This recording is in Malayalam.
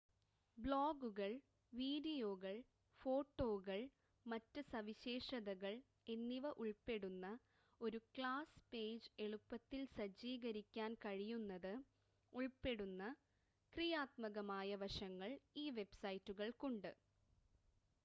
ബ്ലോഗുകൾ വീഡിയോകൾ ഫോട്ടോകൾ മറ്റ് സവിശേഷതകൾ എന്നിവ ഉൾപ്പെടുന്ന ഒരു ക്ലാസ് പേജ് എളുപ്പത്തിൽ സജ്ജീകരിക്കാൻ കഴിയുന്നത് ഉൾപ്പെടുന്ന ക്രിയാത്മകമായ വശങ്ങൾ ഈ വെബ്‌സൈറ്റുകൾക്കുണ്ട്